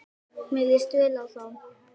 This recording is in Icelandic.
Mér líst vel á þá.